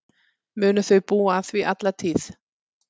Munu þau búa að því alla tíð.